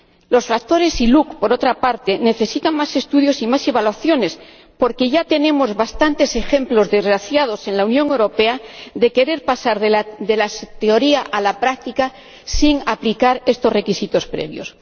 Los factores ILUC, por otra parte, necesitan más estudios y más evaluaciones, porque ya tenemos bastantes ejemplos desgraciados en la Unión Europea de querer pasar de la teoría a la práctica sin aplicar estos requisitos previos.